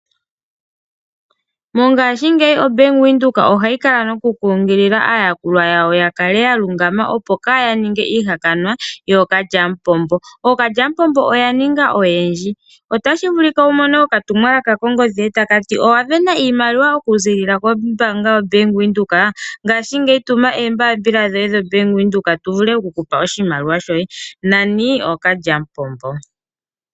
Mongaashingeyi Bank Windhoek ohayi kala noku kunkilila aayakulwa yawo ya kale ya lungama, opo kaaya ninge ihaka wa yookalya mupombo. Ookalya mupombo oya ninga oyendji otashi vulika wu mone oka tumwalaka kongodhi yoye takati owavena iimaliwa oku ziilila ko mbaanga ya Bank Windhoek ngaashingeyi tuma oombaapila dhoye dhi Bank Windhoek tu vule oku kupa oshimaliwa shoye nani ookalya mupombo.